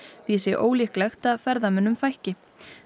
því sé ólíklegt að ferðamönnum fækki